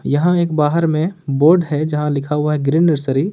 यहां एक बाहर में बोर्ड है जहां लिखा हुआ है ग्रीन नर्सरी ।